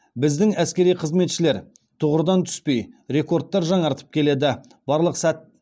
біздің әскери қызметшілер тұғырдан түспей рекордтар жаңартып келеді